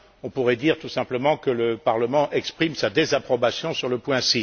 On pourrait dire tout simplement que le Parlement exprime sa désapprobation sur le point